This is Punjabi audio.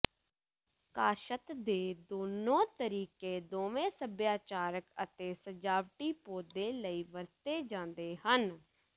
ਕਾਸ਼ਤ ਦੇ ਦੋਨੋ ਤਰੀਕੇ ਦੋਵੇਂ ਸੱਭਿਆਚਾਰਕ ਅਤੇ ਸਜਾਵਟੀ ਪੌਦੇ ਲਈ ਵਰਤੇ ਜਾਂਦੇ ਹਨ